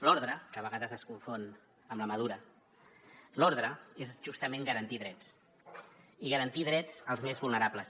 l’ordre que a vegades es confon amb la mà dura l’ordre és justament garantir drets i garantir drets als més vulnerables